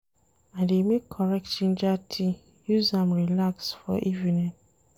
I dey make correct ginger tea use am relax for evening.